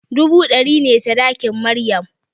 Dubu ɗari ne sadakin maryam